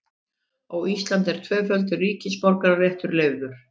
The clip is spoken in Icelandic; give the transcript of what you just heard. Á Íslandi er tvöfaldur ríkisborgararéttur leyfður.